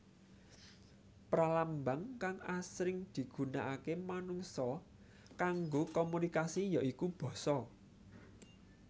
Pralambang kang asring digunaaké manungsa kanggo komunikasi ya iku basa